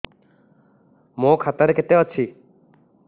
ମୋ ଖାତା ରେ କେତେ ଅଛି